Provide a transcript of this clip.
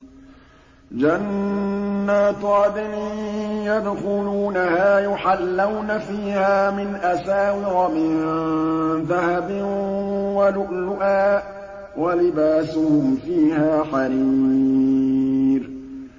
جَنَّاتُ عَدْنٍ يَدْخُلُونَهَا يُحَلَّوْنَ فِيهَا مِنْ أَسَاوِرَ مِن ذَهَبٍ وَلُؤْلُؤًا ۖ وَلِبَاسُهُمْ فِيهَا حَرِيرٌ